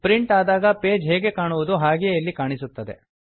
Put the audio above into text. print ಆದಾಗ page ಹೇಗೆ ಕಾಣುವುದೋ ಹಾಗೆಯೇ ಇಲ್ಲಿ ಕಾಣಸಿಗುತ್ತದೆ